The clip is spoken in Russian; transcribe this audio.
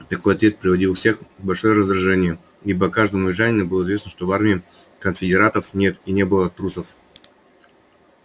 такой ответ приводил всех в большое раздражение ибо каждому южанину было известно что в армии конфедератов нет и не было трусов